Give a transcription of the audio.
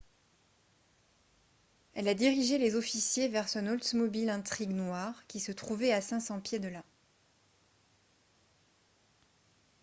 elle a dirigé les officiers vers son oldsmobile intrigue noire qui se trouvait à 500 pieds de là